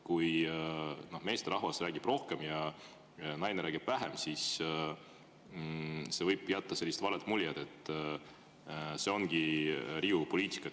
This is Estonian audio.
Kui meesterahvas räägib rohkem ja naine räägib vähem, siis see võib jätta vale mulje, et see ongi Riigikogu poliitika.